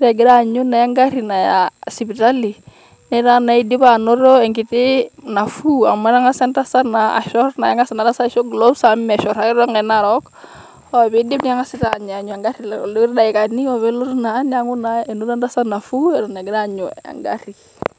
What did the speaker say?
ore egira naa aanyu egarri Naya sipitali netaa naa idipa anoto enkiti nafuu amu metang'asa naa entasat ashorr naa keng'as Ina tasat aishop glos amu meshorr ake too Nkaik narook, ore pee iidip neng'asi taa aanyu anyu egarri iloti daikani ore peitu elotu naa neeku naa enoto entasat enafuu Eton eitu egira aanyu egarri.